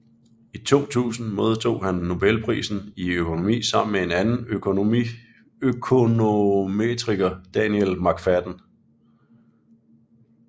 I 2000 modtog han Nobelprisen i økonomi sammen med en anden økonometriker Daniel McFadden